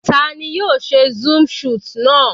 Tani yóò ṣe zoom shot náà?